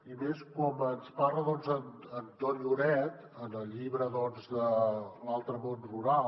i més com ens parla en ton lloret en el llibre l’altre món rural